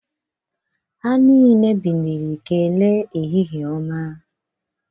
Ndị niile na-ebili wee kelee ehihie ọma